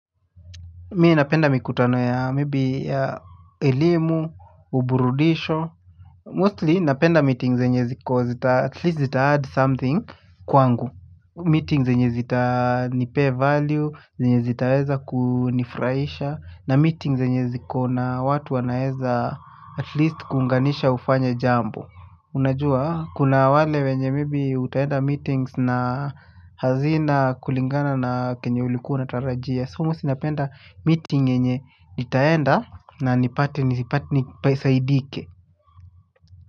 Mimi napenda mikutano ya maybe ya elimu, uburudisho. Mostly napenda meeting zenye ziko at least zita add something kwangu. Meeting zenye zita ni pay value, zenye zitaweza kunifurahisha na meeting zenye ziko na watu wanaweza at least kuunganisha ufanye jambo. Unajua kuna wale wenye maybe utaenda meetings na hazina kulingana na kenye ulikuwa unatarajia. So mostly napenda meeting yenye nitaenda na nipate nipate nisaidike.